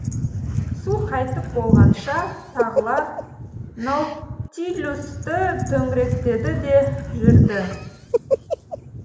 су қайтып болғанша тағылар наутилусты төңіректеді де жүрді